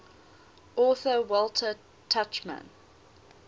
author walter tuchman